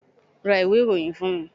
ra ìwé iroyín fún mí